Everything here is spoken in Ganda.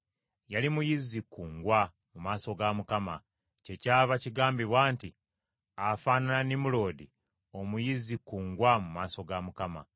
Yali muyizzi kkungwa, mu maaso ga Mukama , kyekyava kigambibwa nti, “Afaanana Nimuloodi omuyizzi kkungwa mu maaso ga Mukama .”